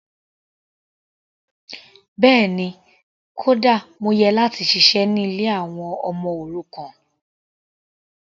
Bẹ́ẹ̀ni, kódà mo yẹ láti ṣiṣẹ́ ní ilé àwọn ọmọ òrukàn.